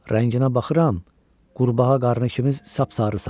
Rənginə baxıram, qurbağa qarnı kimi sapsarısan.